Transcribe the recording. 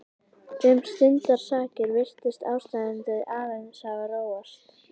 Um stundarsakir virtist ástandið aðeins hafa róast.